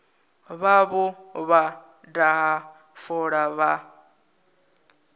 vhavho vha daha fola vha